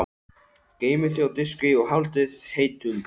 Geymið þau á diski og haldið heitum.